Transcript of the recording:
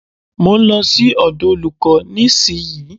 Mo ń lọ sí ọ̀dọ̀ olúkò nísìyí.